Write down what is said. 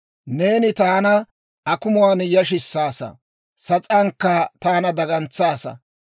neeni taana akumuwaan yashissaasa; sas'aankka taana dagantsaasa.